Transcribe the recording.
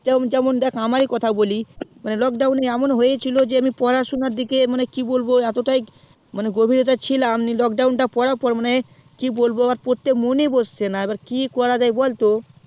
যেমন যেমন দেখ আমারি কথা বলি মানে lockdown এ হয়েছিল যে আমি পড়াশুনা দিকে কি বলবো এত তাই গভীরতা ছিলাম lockdown তা পড়া পর মানে কি বলবো আমার পড়তে মনই বসছেনা কি করা যাই বলতো